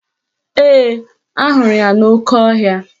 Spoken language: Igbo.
Ee, ahụrụ ya n'oke ohia